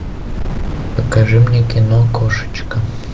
покажи мне кино кошечка